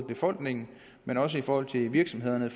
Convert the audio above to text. befolkningen men også i forhold til virksomhederne